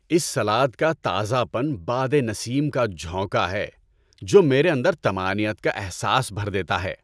اس salad کا تازہ پن بادِ نسیم کا جھونکا ہے جو میرے اندر طمانینت کا احساس بھر دیتا ہے۔